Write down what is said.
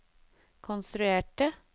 konstruerte